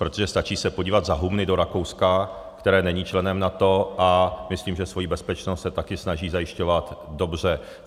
Protože stačí se podívat za humny do Rakouska, které není členem NATO, a myslím, že svoji bezpečnost se taky snaží zajišťovat dobře.